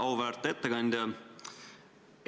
Auväärt ettekandja!